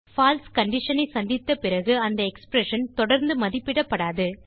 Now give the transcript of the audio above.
பால்சே condition ஐ சந்தித்த பிறகு அந்த எக்ஸ்பிரஷன் தொடர்ந்து மதிப்பிடப்படாது